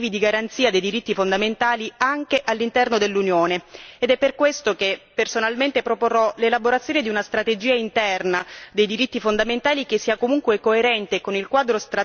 Ed è per questo che personalmente proporrò l'elaborazione di una strategia interna dei diritti fondamentali, che sia comunque coerente con il quadro strategico sui diritti umani e democrazia nell'ambito delle relazioni esterne.